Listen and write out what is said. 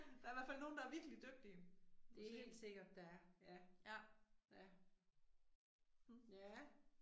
Der i hvert fald nogen der er virkelig dygtige. Til, ja. Mh